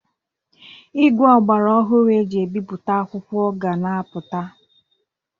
Igwe ọgbara ọhụrụ e ji ebipụta akwụkwo ga na-apụta.